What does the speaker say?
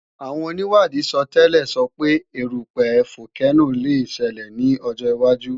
Àwọn onìwádìí sọtẹ́lẹ̀ sọ pé erúpẹ̀ fókénò le ṣelẹ̀ ní ọjọ́ wájú